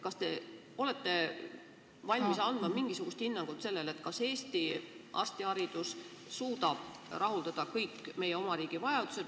Kas te olete valmis andma mingisugust hinnangut sellele, kas Eesti arstiharidus suudab rahuldada kõik meie oma riigi vajadused?